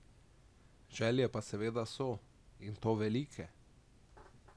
Želje pa seveda so, in to velike!